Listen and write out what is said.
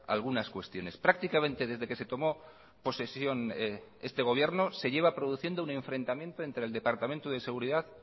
algunas cuestiones prácticamente desde que se tomó posesión este gobierno se lleva produciendo un enfrentamiento entre el departamento de seguridad